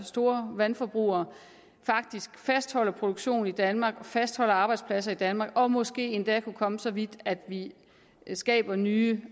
store vandforbrugere faktisk fastholder produktionen i danmark og fastholder arbejdspladser i danmark og måske endda kunne komme så vidt at de skaber nye